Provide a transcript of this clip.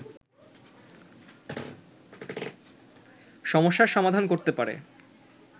সমস্যার সমাধান করতে পারে